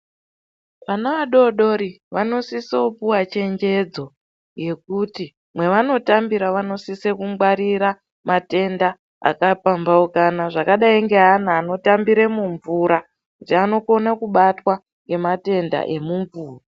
Vana vadodori vanosisa kupuva chenjedzo yekuti mavanotambira vanosisa kungwarira matenda akapambaukana. Zvakadai ngeana anotambire mumvura kuti anokona kubatwa ngematenda emumvura.